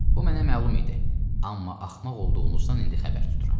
Bu mənə məlum idi, amma axmaq olduğunuzdan indi xəbər tuturam.